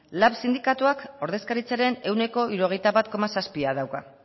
lab sindikatuak ordezkaritzaren ehuneko hirurogeita bat koma zazpia dauka